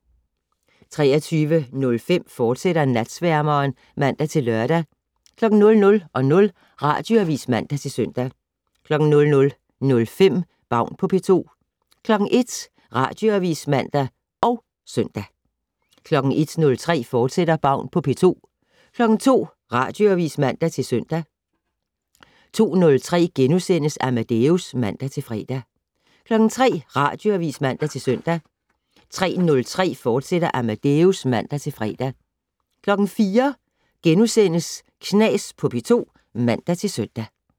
23:05: Natsværmeren, fortsat (man-lør) 00:00: Radioavis (man-søn) 00:05: Baun på P2 01:00: Radioavis (man og søn) 01:03: Baun på P2, fortsat 02:00: Radioavis (man-søn) 02:03: Amadeus *(man-fre) 03:00: Radioavis (man-søn) 03:03: Amadeus, fortsat (man-fre) 04:00: Knas på P2 *(man-søn)